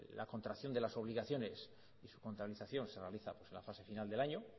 la contracción de las obligaciones y su contabilización se realiza en la fase final del año